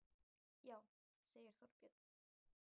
Já, segir Þorbjörn.